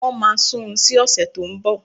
Wọ́n máa sun ún sí ọ̀sẹ̀ tó ń bọ̀